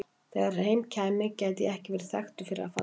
Þegar heim kæmi gæti ég ekki verið þekktur fyrir að falla.